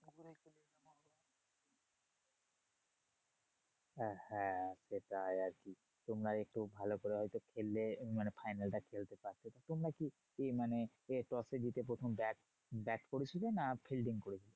হ্যাঁ হ্যাঁ সেটাই আরকি তোমরা আরেকটু ভালো করে হয়তো খেললে মানে final টা খেলতে পারতে। তোমরা কি এই মানে এ toss এ জিতে প্রথম ব্যাট ব্যাট করেছিলে না fielding করেছিলে?